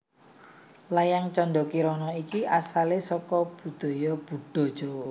Layang Canda Kirana iki asalé saka budaya Buddha Jawa